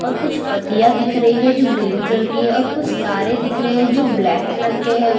और कुछ पत्तियां दिख रही है जो ग्रीन कलर की है और कुछ तारें दिख रही है जो ब्लैक कलर के है।